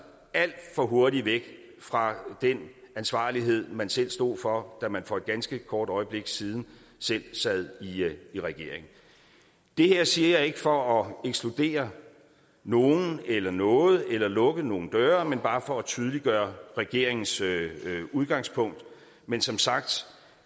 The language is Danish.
alt for hurtigt væk fra den ansvarlighed man selv stod for da man for et ganske kort øjeblik siden selv sad i regering det her siger jeg ikke for at ekskludere nogen eller noget eller lukke nogen døre men bare for at tydeliggøre regeringens udgangspunkt men som sagt